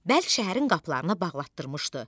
Bəlk şəhərin qapılarını bağlatdırmışdı.